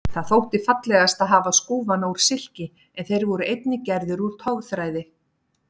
Það þótti fallegast að hafa skúfana úr silki en þeir voru einnig gerðir úr togþræði.